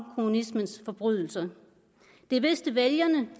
kommunismens forbrydelser det vidste vælgerne